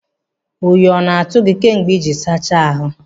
Oyi ọ na-atụ gị kemgbe ịjiri sacha ahụ?